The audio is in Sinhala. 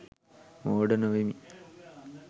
මෝඩ නොවෙමි.